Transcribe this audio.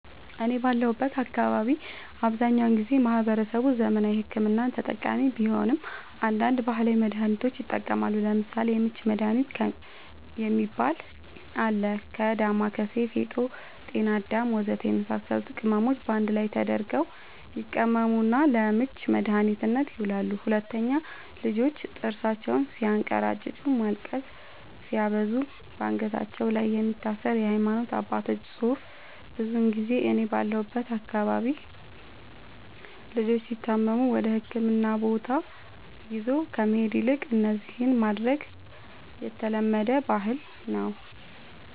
እኔ ባለሁበት አካባቢ አብዛኛውን ጊዜ ማህበረሰቡ ዘመናዊ ሕክምና ተጠቃሚ ቢሆንም አንዳንድ ባህላዊ መድሃኒቶችንም ይጠቀማሉ ለምሳሌ:- የምች መድሃኒት የሚባል አለ ከ ዳማከሲ ፌጦ ጤናአዳም ወዘተ የመሳሰሉት ቅመሞች ባንድ ላይ ተደርገው ይቀመሙና ለምች መድኃኒትነት ይውላሉ 2, ልጆች ጥርሳቸውን ስያንከራጭጩ ማልቀስ ሲያበዙ ባንገታቸው ላይ የሚታሰር የሃይማኖት አባቶች ፅሁፍ ብዙ ጊዜ እኔ ባለሁበት አካባቢ ልጆች ሲታመሙ ወደህክምና ቦታ ይዞ ከመሄድ ይልቅ እነዚህን ማድረግ የተለመደ ባህል ነዉ